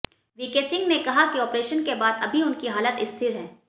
VK Singh ने कहा कि ऑपरेशन के बाद अभी उनकी हालत स्थिर है